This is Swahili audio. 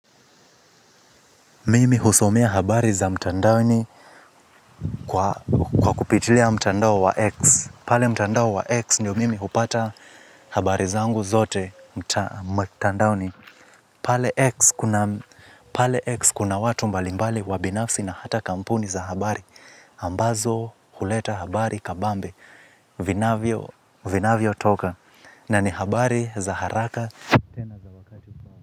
Mimi husomea habari za mtandaoni kwa kupitilia mtandao wa X pale mtandao wa X ndio mimi hupata habari zangu zote mtandaoni, pale X. Pale X kuna watu mbalimbali wa binafsi na hata kampuni za habari. Ambazo huleta habari kabambe. Vinavyo vinavyo toka. Na ni habari za haraka.